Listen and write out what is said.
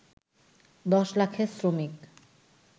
১০ লাখের শ্রমিক